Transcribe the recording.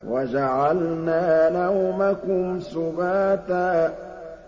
وَجَعَلْنَا نَوْمَكُمْ سُبَاتًا